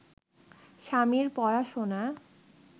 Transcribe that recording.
স্বামীর পড়াশোনা